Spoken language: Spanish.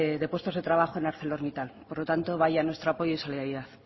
de puestos de trabajo en arcelormittal por lo tanto vaya nuestro apoyo y solidaridad